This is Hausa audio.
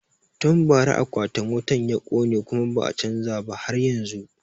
Tun bara akwatin wutan ya kone kuma ba a chanza ba har yanzun